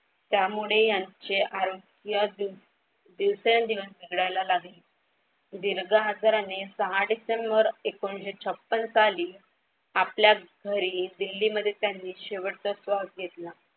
त्यामुळे यांचे आरोग्य दिवसेंदिवस बिघडायला लागली. दीर्घ आजाराने सहा डिसेंबर एकोणीशे छप्पन साली आपल्या घरी दिल्लीमध्ये त्यांनी शेवटचा श्वास घेतला.